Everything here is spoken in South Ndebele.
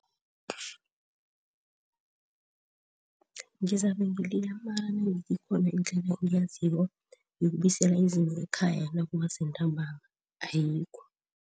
Ngizabe amala ikhona indlela engiyaziko yokubuyisela izinto ekhaya nakuma sentambama ayikho.